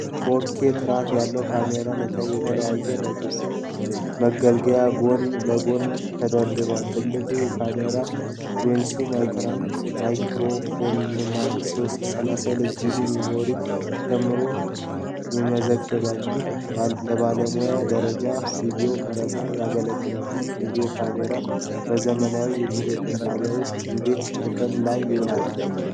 የ4ኬ (4K) ጥራት ያለው ካሜራና የተለያዩ መገልገያዎቹ ጎን ለጎን ተደርድረዋል። ትልቁን ካሜራ፣ ሌንሱን፣ ማይክሮፎንና 32ጂቢ ሚሞሪ ጨምሮ ይመዘግባል፤ ይህም ለባለሙያ ደረጃ ቪዲዮ ቀረፃ ያገለግላል። ይህ የቪዲዮ ካሜራ በዘመናዊ የቴሌቪዥን ጣቢያዎች ውስጥ እንዴት ጥቅም ላይ ይውላል?